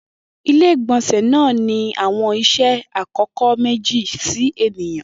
Ile-igbọnsẹ naa ni awọn iṣẹ akọkọ meji si eniyan